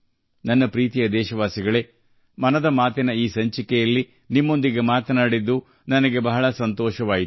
ನನ್ನ ಪ್ರೀತಿಯ ದೇಶವಾಸಿಗಳೆ ಮನ್ ಕಿ ಬಾತ್ನ ಈ ಸಂಚಿಕೆಯಲ್ಲಿ ನಿಮ್ಮೊಂದಿಗೆ ಸಂಪರ್ಕ ಸಾಧಿಸಿದ್ದಕ್ಕೆ ಸಂತೋಷವಾಯಿತು